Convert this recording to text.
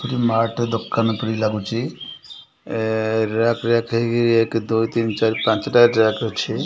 Mat ଦୋକାନ ପରିକା ଭଳି ଲାଗୁଛି ରାକ୍ ରାକ ହେଇ ଏକ ଦୁଇ ତିନ ଚାରି ପାଞ୍ଚଟା ରାକ୍ ହେଇ ଅଛି।